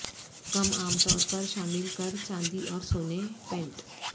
کم عام طور پر شامل کر چاندی اور سونے پینٹ